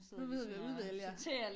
Nu sidder vi og udvælger